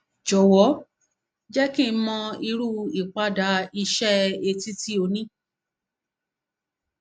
jọwọ jẹ kí n mọ irú ìpadà iṣẹ etí tí ó ní